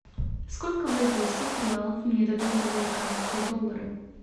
сколько бразильских реалов мне дадут за американские доллары